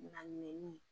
Na minɛn